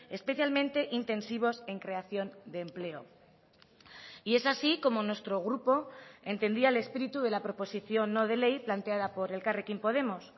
especialmente intensivos en creación de empleo y es así como nuestro grupo entendía el espíritu de la proposición no de ley planteada por elkarrekin podemos